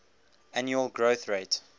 annual growth rate